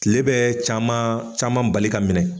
kile bɛ caman caman bali ka minɛ.